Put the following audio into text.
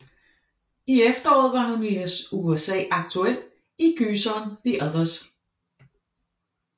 I efteråret var hun i USA aktuel i gyseren The Others